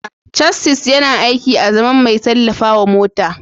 Chassis yana aiki azaman mai tallafawa mota.